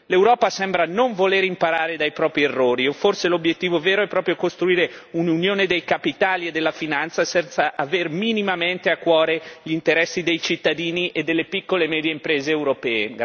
L'Europa sembra non voler imparare dai propri errori o forse l'obiettivo vero è proprio costruire un'Unione dei capitali e della finanza senza aver minimamente a cuore gli interessi dei cittadini e delle piccole e medie imprese europee.